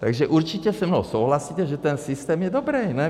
Takže určitě se mnou souhlasíte, že ten systém je dobrý, ne?